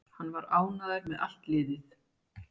Hann var ánægður með allt liðið.